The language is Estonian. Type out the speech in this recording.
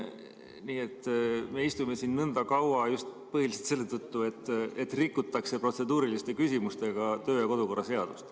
Nii et me istume siin nõnda kaua just põhiliselt selle tõttu, et rikutakse protseduuriliste küsimustega kodu- ja töökorra seadust.